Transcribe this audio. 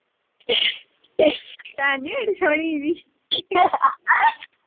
ਭੈਣ ਨਹੀਂ ਮੇਰੀ ਸੋਹਣੀ ਜੀ।